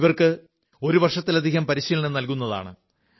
ഇവർക്ക് ഒരു വർഷത്തിലധികം പരിശീലനം നൽകുന്നതാണ്